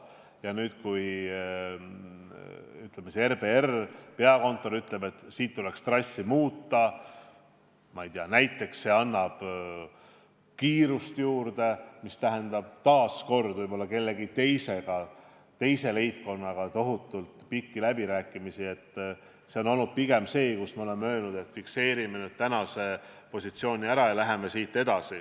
Ja kui siis RBR, peakontor ütleb, et siit tuleks trassi muuta – ma ei tea, näiteks annab see kiirust juurde –, mis tähendab taas kord võib-olla kellegi teisega, teise leibkonnaga tohutult pikki läbirääkimisi, siis see on olnud pigem see koht, kus me oleme öelnud, et fikseerime nüüd tänase positsiooni ära ja läheme edasi.